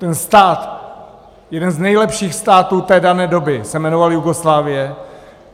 Ten stát, jeden z nejlepších států té dané doby, se jmenoval Jugoslávie.